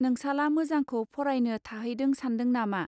नोंसाला मोजांखौ फरायनो थाहैदों सान्दों नामा.